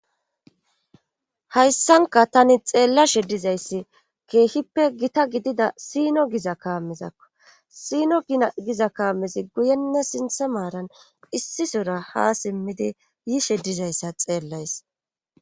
Hayssanka tani xeella she dizayssi keehippe gita gidida sino giza kaamizakko siino giza kaamizi guyenne sintha maaran issisora ha simmidi yishe dizayssa xeellays